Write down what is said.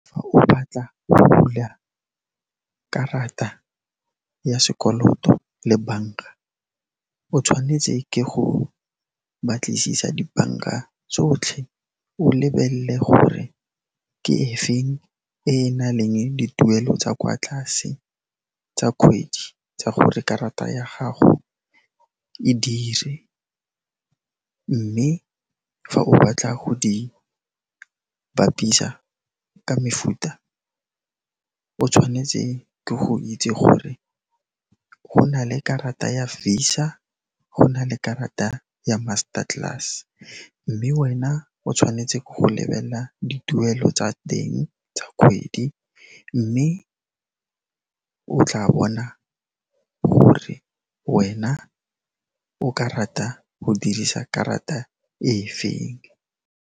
Fa o batla go bula karata ya sekoloto le banka, o tshwanetse ke go batlisisa dibanka tsotlhe, o lebelle gore ke efeng e na leng dituelo tsa kwa tlase tsa kgwedi tsa gore karata ya gago e dire, mme fa o batla go di bapisa ka mefuta o tshwanetse ke go itse gore go na le karata ya Visa, go na le karata ya Master Class, mme wena o tshwanetse ke go lebela dituelo tsa teng tsa kgwedi, mme o tla bona gore wena o ka rata go dirisa karata e feng.